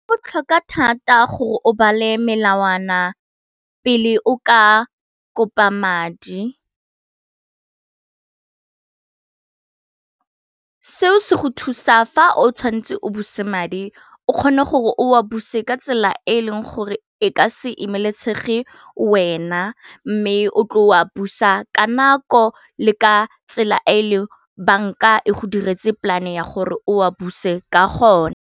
Go botlhoka thata gore o bale melawana pele o ka kopa madi seo se go thusa fa o tshwanetse o buse madi o kgone gore o a buse ka tsela e e leng gore e ka se emelesege wena, mme o tle o a busa ka nako le ka tsela e e leng banka e go diretse polane ya gore o a buse ka gona.